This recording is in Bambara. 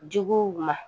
Juguw ma